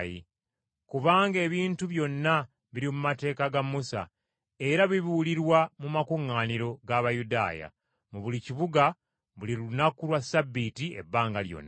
Kubanga ebintu byonna biri mu mateeka ga Musa, era bibuulirwa mu makuŋŋaaniro g’Abayudaaya mu buli kibuga buli lunaku lwa Ssabbiiti ebbanga lyonna.”